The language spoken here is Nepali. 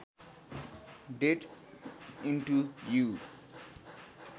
date into you